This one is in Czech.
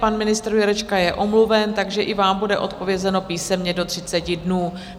Pan ministr Jurečka je omluven, takže i vám bude odpovězeno písemně do 30 dnů.